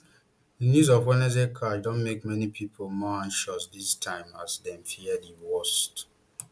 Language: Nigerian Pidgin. di news of wednesday crush don make many pipo more anxious dis time as dem fear di worst